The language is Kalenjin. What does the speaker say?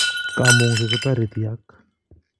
Kamungset kotareti ak